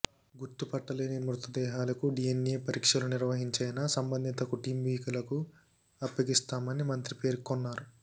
గుర్తుపట్టలేని మృతదేహాలకు డీఎన్ఏ పరీక్షలు నిర్వహించైనా సంబంధిత కుటుంబీకులకు అప్పగిస్తామని మంత్రి పేర్కొన్నారు